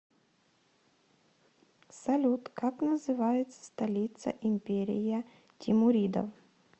салют как называется столица империя тимуридов